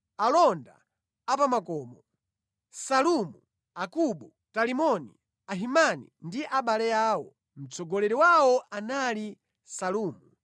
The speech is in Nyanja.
Alonda a pa makomo: Salumu, Akubu, Talimoni, Ahimani ndi abale awo. Mtsogoleri wawo anali Salumu.